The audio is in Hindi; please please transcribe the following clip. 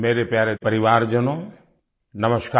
मेरे प्यारे परिवारजनों नमस्कार